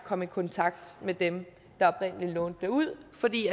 komme i kontakt med dem der oprindelig lånte dem ud fordi